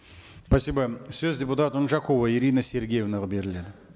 спасибо сөз депутат унжакова ирина сергеевнаға беріледі